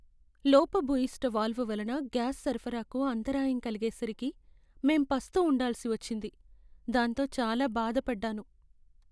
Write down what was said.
లోపభూయిష్ట వాల్వ్ వలన గ్యాస్ సరఫరాకు అంతరాయం కలిగేసరికి మేం పస్తు ఉండాల్సి వచ్చింది, దాంతో చాలా బాధపడ్డాను.